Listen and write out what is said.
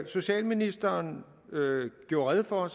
socialministeren gjorde rede for